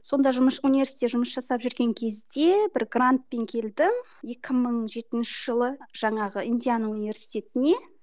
сонда университетте жұмыс жасап жүрген кезде бір грантпен келдім екі мың жетінші жылы жаңағы индиана университетіне